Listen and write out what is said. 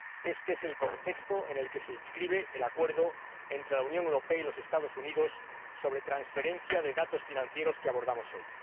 Este es el contexto en el que se inscribe el acuerdo entre la Unión Europea y los Estados Unidos sobre transferencia de datos financieros que abordamos hoy.